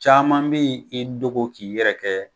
Caaman be i dogo k'i yɛrɛ kɛ